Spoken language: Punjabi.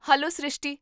ਹੈਲੋ ਸ੍ਰਿਸ਼ਟੀ!